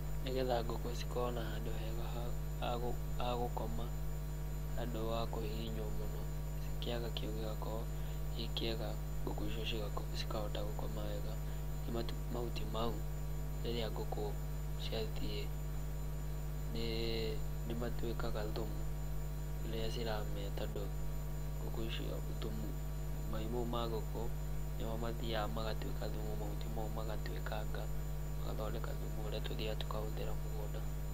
Nĩgetha ngũkũ cĩkorwo na handũ hega ha gũkoma, handũ wa kũhihinywo mũno kĩaga kĩu gĩgakorwo gĩ kĩega ngũkũ icio cikahota gũkoma wega. Ningĩ mahuti mau rĩrĩa ngũkũ ciathie nĩ matuĩkaga thumu rĩrĩa ciramĩa, tondũ ngũkũ icio thumu, mai mau ma ngũkũ nĩmo mathiaga magatuĩka thumu, mahutĩ mau magatuĩkanga magathondeka thumu ũrĩa tũthiaga tũkahũthĩra mũgũnda.